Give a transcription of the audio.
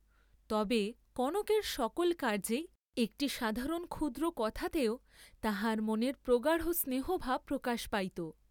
তবে, কনকের সকল কার্য্যেই, একটি সাধারণ ক্ষুদ্র কথাতেও তাহার মনের প্রগাঢ় স্নেহভাব প্রকাশ পাইত।